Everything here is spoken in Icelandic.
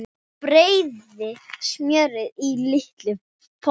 Bræðið smjörið í litlum potti.